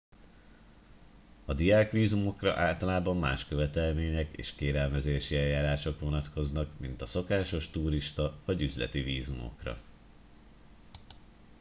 a diák vízumokra általában más követelmények és kérelmezési eljárások vonatkoznak mint a szokásos turista vagy üzleti vízumokra